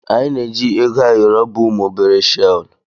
Anyị na-eji Ego ayoro bụ ụmụ obere shel.